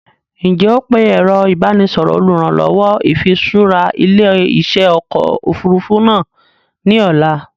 Ǹ jẹ́ ó pe ẹ̀rọ ìbánisọọ̀rọ̀ olùrànlọ́wọ́ ìfiṣura ilé-iṣẹ́ ọkọ̀ Òfurufú náà ni ọ̀la